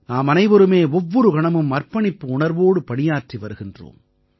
நாமனைவருமே ஒவ்வொரு கணமும் அர்ப்பணிப்பு உணர்வோடு பணியாற்றி வருகின்றோம்